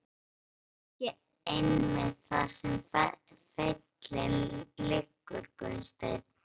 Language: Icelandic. En er það ekki einmitt þar sem feillinn liggur Gunnsteinn?